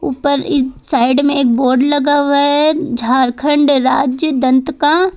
ऊपर इस साइड में एक बोर्ड लगा हुआ है झारखंड राज्य दंत का।